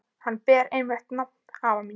Hann ber einmitt nafn afa míns.